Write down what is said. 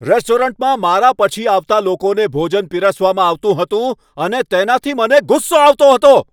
રેસ્ટોરન્ટમાં મારા પછી આવતા લોકોને ભોજન પીરસવામાં આવતું હતું અને તેનાથી મને ગુસ્સો આવતો હતો.